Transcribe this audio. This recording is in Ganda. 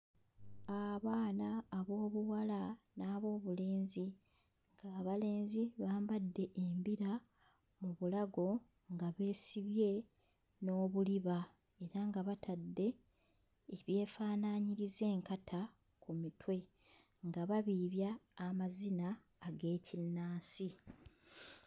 Abaana ab'obuwala n'ab'obulenzi. Abalenzi bambadde embira mu bulago nga beesibye n'obuliba era nga abatadde ebyefaanaanyiriza enkata ku mutwe nga babiibya amazina ag'ekinnansi.